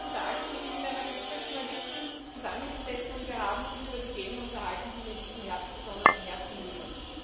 Vor einigen Tagen habe ich mit einer Gruppe Journalisten zusammengesessen, und wir haben uns über die Themen unterhalten, die mir in diesem Herbst besonders am Herzen liegen.